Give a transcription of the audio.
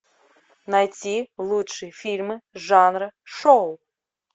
найти лучшие фильмы жанра шоу